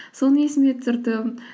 соны есіме түсірдім